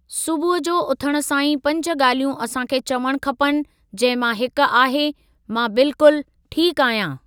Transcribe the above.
सुबुह जो उथण सां ई पंज ॻाल्हियूं असां खे चवणु खपनि जंहिं मां हिक आहे, मां बिल्कुल ठीकु आहियां।